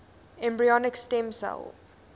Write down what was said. embryonic stem cell